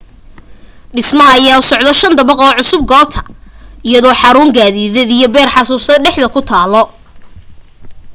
dhismaha ayaa u socdo shan dabaq oo cusub goobta iyadoo xaruun gaadideed iyo beer xusuus dhexda ku taalo